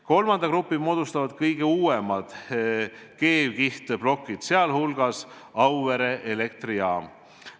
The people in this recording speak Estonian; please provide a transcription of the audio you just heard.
Kolmanda grupi moodustavad kõige uuemad keevkihtplokid, sh Auvere elektrijaama omad.